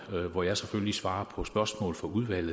hvor jeg selvfølgelig svarer på spørgsmål fra udvalget